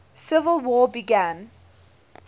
civil war began